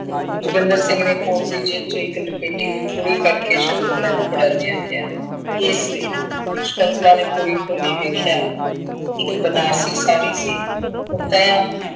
ਜੋਗਿੰਦਰ ਸਿੰਘ ਨੇ ਕੋਟ ਦੀ ਜੇਬ ਚੋਂ ਇੱਕ ਲਪੇਟੀ ਹੋਈ ਪੁੜੀ ਕੱਢ ਕੇ ਸਕੁੰਤਲਾ ਨੂੰ ਫੜਾਉਂਦਿਆਂ ਕਿਹਾ, ਇਸ ਲਈ, ਸਕੁੰਤਲਾ ਨੇ ਪੁੜੀ ਖੋਲੀ ਵੇਖਿਆ, ਇੱਕ ਬਨਾਰਸੀ ਸਾੜੀ ਸੀ